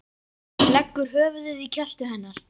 Leggur höfuðið í kjöltu hennar.